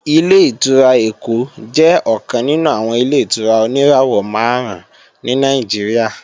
Ilé-ìtura Èkó jẹ́ ọ̀kan nínú àwọn Ilé-ìtura oníràwọ̀ máàrún ní Nàìjíríà